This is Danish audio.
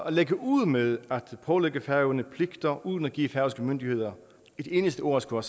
lægge ud med at pålægge færøerne pligter uden at give færøske myndigheder et eneste ord at skulle